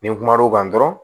Ni n kum'o kan dɔrɔn